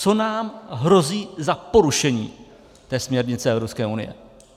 Co nám hrozí za porušení té směrnice Evropské unie?